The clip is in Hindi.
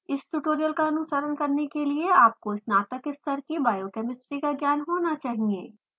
इस ट्यूटोरियल का अनुसरण करने के लिए आपको स्नातक स्तर की biochemistry का ज्ञान होना चाहिए